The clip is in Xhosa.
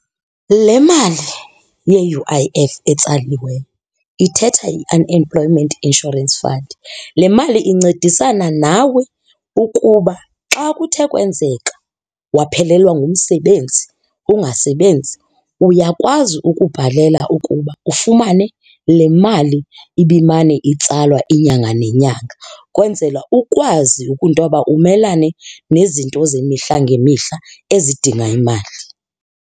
Le mali ye-U_I_F etsaliweyo ithetha i-Unemployment Insurance Fund. Le mali incedisana nawe ukuba xa kuthe kwenzeka waphelelwa ngumsebenzi, ungasebenzi, uyakwazi ukubhalela ukuba ufumane le mali ibimane itsalwa inyanga nenyanga kwenzela ukwazi ntoba umelane nezinto zemihla ngemihla ezidinga imali.